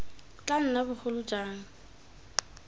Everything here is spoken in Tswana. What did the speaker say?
tla nna jo bogolo jang